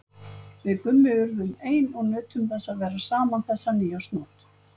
Við Gummi urðum ein og nutum þess að vera saman þessa nýársnótt.